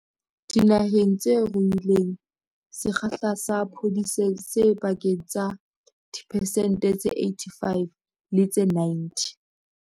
Dinaheng tse ruileng, sekgahla sa phodiso se pakeng tsa diphesente tse 85 le tse 90.